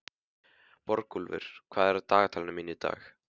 Borgúlfur, hvað er í dagatalinu mínu í dag?